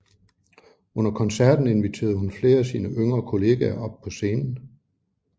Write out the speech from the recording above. Under koncerten inviterede hun flere af sine yngre kollegaer op på scenen